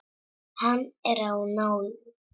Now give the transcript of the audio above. Hann er á nálum.